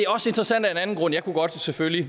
også interessant af en anden grund jeg kunne selvfølgelig